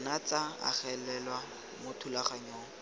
nna tsa agelelwa mo thulaganyong